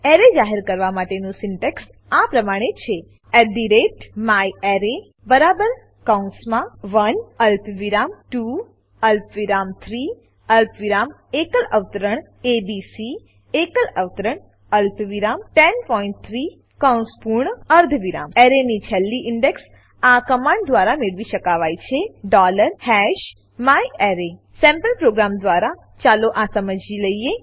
array જાહેર કરવા માટેનું સિન્ટેક્સ આ પ્રમાણે છે myArray બરાબર કૌંસમાં 1 અલ્પવિરામ 2 અલ્પવિરામ 3 અલ્પવિરામ એકલ અવતરણ એબીસી એકલ અવતરણ અલ્પવિરામ 103 કૌંસ પૂર્ણ અર્ધવિરામ એરેની છેલ્લી ઇન્ડેક્સ આ કમાંડ દ્વારા મેળવી શકાવાય છે myArray સેમ્પલ પ્રોગ્રામ દ્વારા ચાલો આ સમજી લઈએ